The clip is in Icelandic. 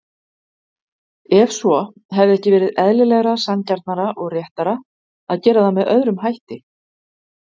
Ef svo, hefði ekki verið eðlilegra, sanngjarnara og réttara að gera það með öðrum hætti?